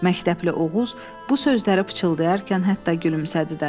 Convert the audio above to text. Məktəbli Oğuz bu sözləri pıçıldayarkən hətta gülümsədi də.